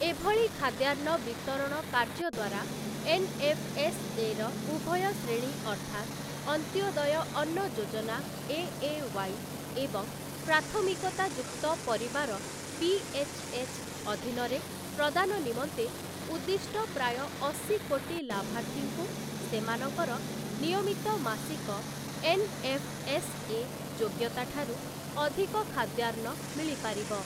ଏଭଳି ଖାଦ୍ୟାନ୍ନ ବିତରଣ କାର୍ଯ୍ୟ ଦ୍ୱାରା ଏନ୍ଏଫ୍ଏସ୍ଏର ଉଭୟ ଶ୍ରେଣୀ ଅର୍ଥାତ୍, ଅନ୍ତ୍ୟୋଦୟ ଅନ୍ନ ଯୋଜନା ଏଏୱାଇ ଏବଂ ପ୍ରାଥମିକତାଯୁକ୍ତ ପରିବାର ପିଏଚ୍ଏଚ୍ ଅଧୀନରେ ପ୍ରଦାନ ନିମନ୍ତେ ଉଦ୍ଦିଷ୍ଟ ପ୍ରାୟ ଅଶି କୋଟି ଲାଭାର୍ଥୀଙ୍କୁ ସେମାନଙ୍କର ନିୟମିତ ମାସିକ ଏନ୍ଏଫ୍ଏସ୍ଏ ଯୋଗ୍ୟତା ଠାରୁ ଅଧିକ ଖାଦ୍ୟାନ୍ନ ମିଳିପାରିବ ।